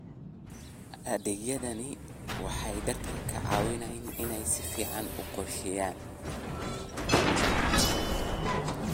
Adeegyadani waxay dadka ka caawiyaan inay si fiican u qorsheeyaan.